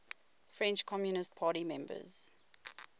french communist party members